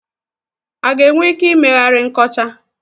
A ga-enwe ike ị meghari nkọcha?